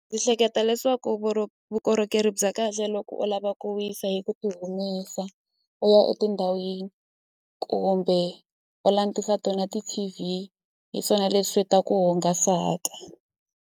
hleketa leswaku vukorhokeri bya kahle loko u lava ku wisa hi ku ti humesa u ya etindhawini kumbe u langutisa tona ti-T_V hi swona leswi ta ku hungasaka.